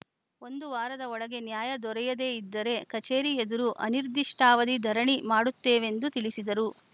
ಒಂದು ವಾರದ ಒಳಗೆ ನ್ಯಾಯ ದೊರೆಯದೆ ಇದ್ದರೆ ಕಚೇರಿ ಎದುರು ಅನಿರ್ದಿಷ್ಟಾವಧಿ ಧರಣಿ ಮಾಡುತ್ತೇವೆಂದು ತಿಳಿಸಿದರು